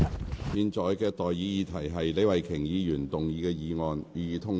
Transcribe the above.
我現在向各位提出的待議議題是：李慧琼議員動議的議案，予以通過。